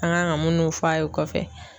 An kan ka munnu f'a ye o kɔfɛ